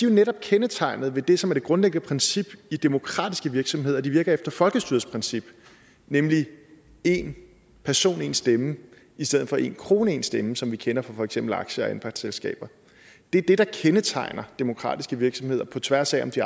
jo netop kendetegnet ved det som er det grundlæggende princip i demokratiske virksomheder at de virker efter folkestyrets princip nemlig en person en stemme i stedet for en krone en stemme som vi kender fra for eksempel aktie og anpartsselskaber det er det der kendetegner demokratiske virksomheder på tværs af om de